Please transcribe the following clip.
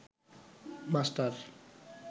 master